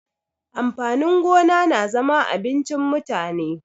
Amfani gona na zama abincin mutane.